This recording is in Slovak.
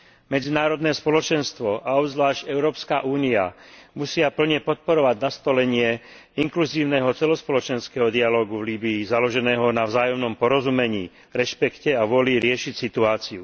Medzinárodné spoločenstvo a obzvlášť Európska únia musia plne podporovať nastolenie inkluzívneho celospoločenského dialógu v Líbyi založeného na vzájomnom porozumení, rešpekte a vôli riešiť situáciu.